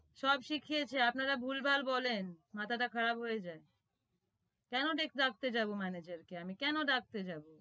সব শিখিয়েছে আপনারা ভুল ভাল বলেন মাথাটা খারাপ হয়ে যায় কেন ডাকতে যাবো manager আমি কে আমি কেন ডাকতে যাবো